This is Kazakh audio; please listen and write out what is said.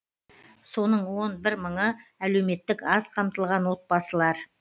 соның он бір мыңы әлеуметтік аз қамтылған отбасылар